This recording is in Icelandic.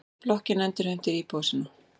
Blokkin endurheimtir íbúa sína.